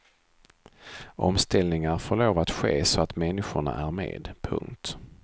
Omställningar får lov att ske så att människorna är med. punkt